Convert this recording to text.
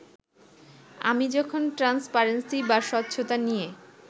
আমি যখন ট্রান্সপারেন্সি বা স্বচ্ছতা নিয়ে